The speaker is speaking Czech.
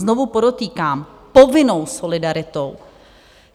Znovu podotýkám - povinnou solidaritou.